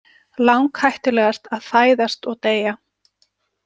Langhættulegast að fæðast og deyja!